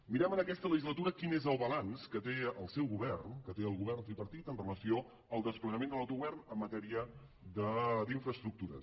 mirem en aquesta legislatura quin és el balanç que té el seu govern que té el govern tripartit en relació amb el desplegament de l’autogovern en matèria d’infraestructures